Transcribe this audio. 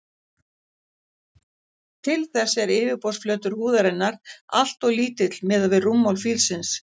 Til þess er yfirborðsflötur húðarinnar alltof lítill miðað við rúmmál fílsins.